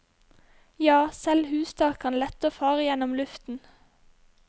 Ja, selv hustak kan lette og fare gjennom luften.